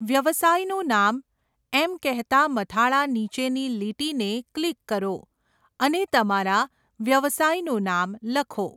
વ્યવસાયનું નામ' એમ કહેતા મથાળા નીચેની લીટીને ક્લિક કરો અને તમારા વ્યવસાયનું નામ લખો.